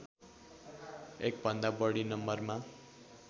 एकभन्दा बढी नम्बरमा